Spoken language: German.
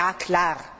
Ja klar!